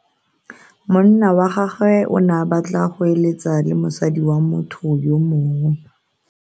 Monna wa gagwe o ne a batla go eletsa le mosadi wa motho yo mongwe.